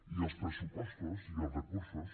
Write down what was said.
i els pressupostos i els recursos